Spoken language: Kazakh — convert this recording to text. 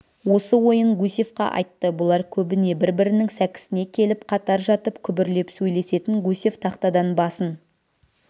осы ойын гусевқа айтты бұлар көбіне бір-бірінің сәкісіне келіп қатар жатып күбірлеп сөйлесетін гусев тақтадан басын